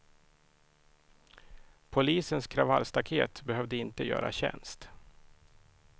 Polisens kravallstaket behövde inte göra tjänst.